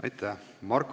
Aitäh!